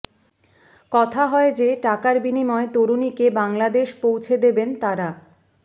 কথা হয় যে টাকার বিনিময় তরুণীকে বাংলাদেশ পৌঁছে দেবেন তারা